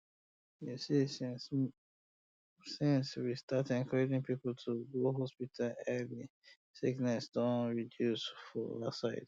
you see since um we start encourage people to go hospital early sickness don um reduce for our side